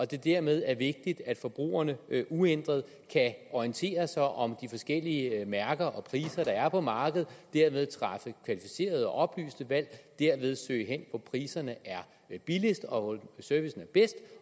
det dermed er vigtigt at forbrugerne uændret kan orientere sig om de forskellige mærker og priser der er på markedet og dermed træffe kvalificerede og oplyste valg og dermed søge hen hvor priserne er lavest og hvor servicen er bedst